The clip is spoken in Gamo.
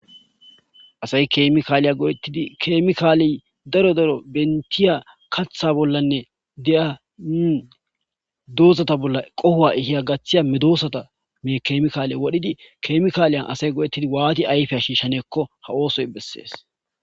asay kemikaaliya godettidi keemikaaley daro daro bentiya katha bollanne deya doozata bolla qohowa ihiya gaththiya medoosata me keemikaale wodhidi kemikaaliyan asay godettidi waati ayfea shiishshaneekko ha oosoy bessees